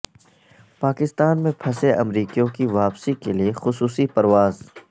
پاکستان میں پھنسے امریکیوں کی واپسی کے لیے خصوصی پرواز